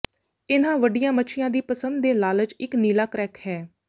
ਇਨ੍ਹਾਂ ਵੱਡੀਆਂ ਮੱਛੀਆਂ ਦੀ ਪਸੰਦ ਦੇ ਲਾਲਚ ਇੱਕ ਨੀਲਾ ਕਰੈਕ ਹੈ